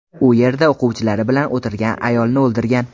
U yerda o‘quvchilari bilan o‘tirgan ayolni o‘ldirgan.